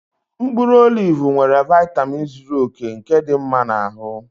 Mkpụrụ olivu nwere vaitamin zuru oke nke dị mma na ahụ